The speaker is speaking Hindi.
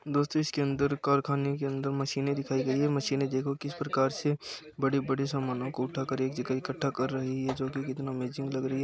दोस्तों इसके अंदर कारखाने के अंदर मशीनें दिखाई गई हैं। मशीनें देखो किस प्रकार से बड़े-बड़े सामानों को उठा कर एक जगह इकट्ठा कर रही हैं जो कि कितना अमेजिंग लग रही है।